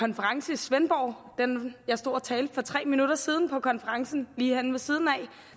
konference i svendborg jeg stod og talte for tre minutter siden på konferencen lige herinde ved siden af